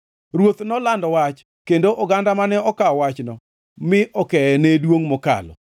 Ruoth nolando wach kendo oganda mane okawo wachno mi okeye ne duongʼ mokalo: